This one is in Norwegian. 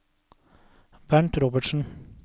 Bernt Robertsen